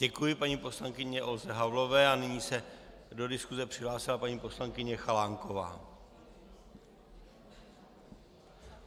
Děkuji paní poslankyni Olze Havlové a nyní se do diskuse přihlásila paní poslankyně Chalánková.